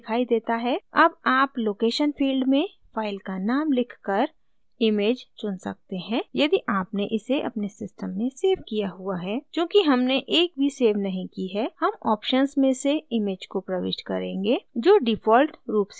अब आप location field में फाइल का नाम लिखकर इमेज चुन सकते हैं यदि आपने इसे अपने सिस्टम में सेव किया हुआ है चूँकि हमने एक भी सेव नहीं की है हम ऑप्शन्स में से इमेज को प्रविष्ट करेंगे जो डिफॉल्ट रूप से प्रदान की जाती हैं